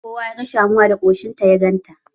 Kowa ya ga Shamuwa da koshinta ya ganta.